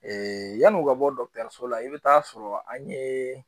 yan'u ka bɔ dɔgɔtɔrɔso la i bɛ taa sɔrɔ an ye